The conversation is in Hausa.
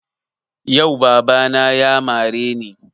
Yau baba na ya mare ni